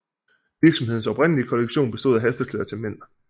Virksomhedens oprindelige kollektion bestod af halstørklæder til mænd